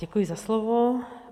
Děkuji za slovo.